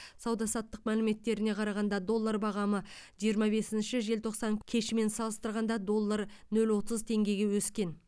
сауда саттық мәліметтеріне қарағанда доллар бағамы жиырма бесінші желтоқсан кешімен салыстырғанда доллар нөл отыз теңгеге өскен